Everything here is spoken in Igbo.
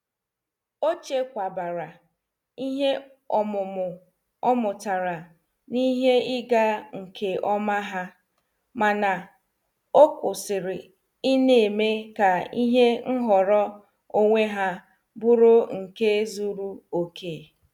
Ọ chekwabara ihe ọmụmụ o mụtara n'ihe ịga nke ọma ha, mana, ọ kwụsịrị ịna-eme ka ihe nhọrọ onwe ha bụrụ nke zuru okè